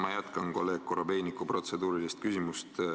Ma jätkan kolleeg Korobeiniku protseduurilist küsimust.